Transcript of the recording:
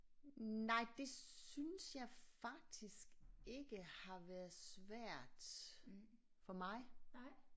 Nej det synes jeg faktisk ikke har været svært for mig